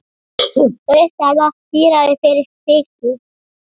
Þau verða dýrari fyrir vikið.